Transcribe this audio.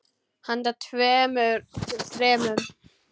Handa tveimur til þremur